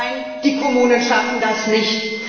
Nein, die Kommunen schaffen das nicht.